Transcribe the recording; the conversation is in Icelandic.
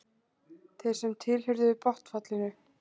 Þeir sem tilheyrðu botnfallinu.